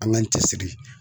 An k'an cɛ siri.